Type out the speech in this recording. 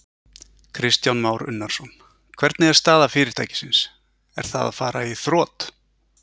Kristján Már Unnarsson: Hvernig er staða fyrirtækisins, er það að fara í þrot?